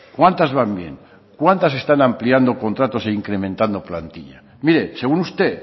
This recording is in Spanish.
cuántas van bien cuántas están ampliando contratos e incrementando plantilla mire según usted